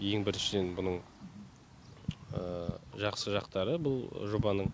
ең біріншіден бұның жақсы жақтары бұл жобаның